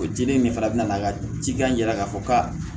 O dili in fana bɛ na cikan yira k'a fɔ ka